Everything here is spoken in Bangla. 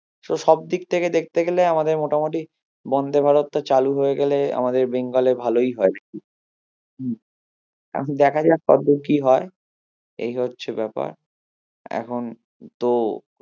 So সবদিক থেকে দেখতে গেলে আমাদের মোটামুটি বন্দে ভারতটা চালু হয়েগেলে আমাদের বেঙ্গলে ভালোই হয় হম দেখা যাক কতদূর কি হয় এই হচ্ছে ব্যাপার এখন তো